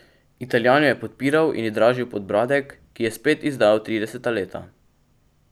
Italijan jo je podpiral in ji dražil podbradek, ki je spet izdajal trideseta leta.